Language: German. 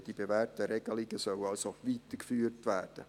Die bewährten Regelungen sollen also weitergeführt werden.